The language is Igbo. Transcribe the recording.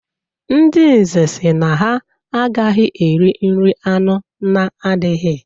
Ndị Nze sị na ha agaghị eri nri anụ na-adighị.